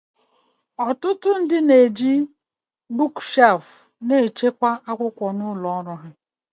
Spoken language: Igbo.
Ọtụtụ ndị na-eji akwa akwụkwọ na-echekwa akwụkwọ n'ụlọ ọrụ